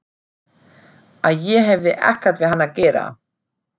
Að ég hefði ekkert við hann að gera.